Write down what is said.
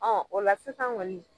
o la sisan ŋɔni